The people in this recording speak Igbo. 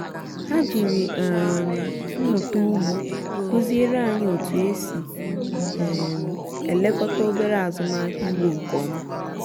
ha jiri um mmụta ugbo kụziere anyị otú e si um elekọta obere azụmahịa ugbo nke ọma